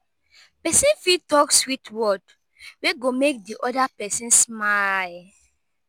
person fit show love through di words of i'm mouth